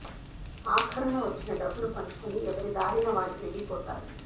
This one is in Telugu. ఆఖరున వచ్చిన డబ్బును పంచుకొని ఎవరి దారిన వాళ్లు వెళ్లి పోతారు